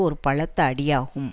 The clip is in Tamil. ஒரு பலத்த அடியாகும்